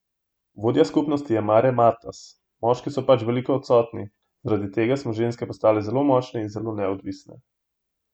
Vodja skupnosti je Mare Matas: "Moški so pač veliko odsotni, zaradi tega smo ženske postale zelo močne in zelo neodvisne.